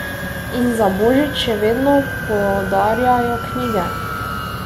In za božič še vedno podarjajo knjige.